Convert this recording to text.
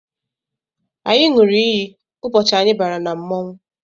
Anyị ṅụrụ iyi ụbọchị anyị bara na mmọnwụ